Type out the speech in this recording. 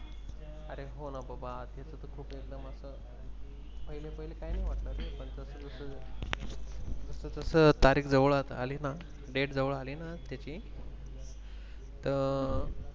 पहिले पहिले काही नाही वाटत रे जस जशी तारीख जवळ आली ना Date जवळ आली ना त्याची त अं